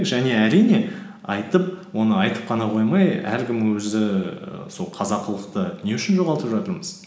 және әрине айтып оны айтып қана қоймай әркім өзі і сол қазақылықты не үшін жоғалтып жатырмыз